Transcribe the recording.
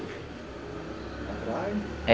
Atrás?